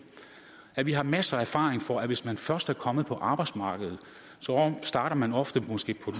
at vi har masser af erfaring for at hvis man først er kommet på arbejdsmarkedet starter man ofte måske på